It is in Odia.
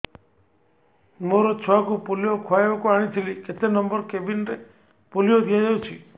ମୋର ଛୁଆକୁ ପୋଲିଓ ଖୁଆଇବାକୁ ଆଣିଥିଲି କେତେ ନମ୍ବର କେବିନ ରେ ପୋଲିଓ ଦିଆଯାଉଛି